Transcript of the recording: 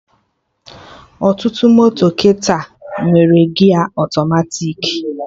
Ọtụtụ moto kịta nwere gia ọtọmatiki